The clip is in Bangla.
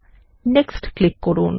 নেক্সট ক্লিক করুন